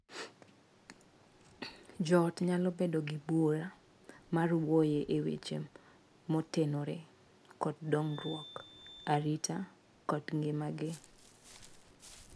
Joot nyalo bedo gi bura mar wuoye e weche motenore kod dongruok, arita, kod ngimagi.